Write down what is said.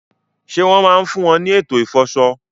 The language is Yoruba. Ṣé wọ́n máa ń fún wọn ní ètò ìfọṣọ?